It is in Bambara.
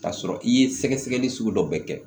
K'a sɔrɔ i ye sɛgɛsɛgɛli sugu dɔ bɛɛ kɛ